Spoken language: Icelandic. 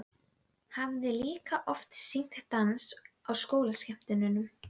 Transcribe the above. Hjartað er holur og strýtulagaður vöðvi.